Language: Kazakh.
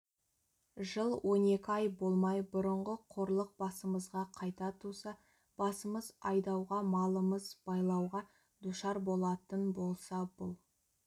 жыл он екі ай болмай бұрынғы қорлық басымызға қайта туса басымыз айдауға малымыз байлауға душар болатын болса бұл